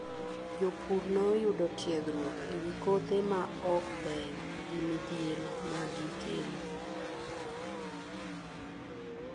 Jopur noyudo tiegruok ewi kothe ma ok beyo gi midhiero ma gi kelo.